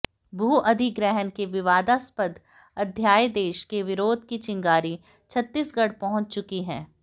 भू अधिग्रहण के विवादास्पद अध्यादेश के विरोध की चिंगारी छत्तीसगढ़ पहुंच चुकी है